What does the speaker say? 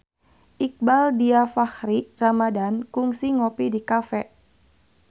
Iqbaal Dhiafakhri Ramadhan kungsi ngopi di cafe